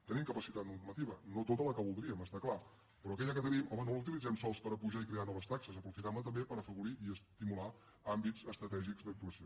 tenim capacitat normativa no tota la que voldríem està clar però aquella que tenim home no la utilitzem sols per apujar i crear noves taxes aprofitem·la també per afavorir i estimular àmbits estratègics d’actuació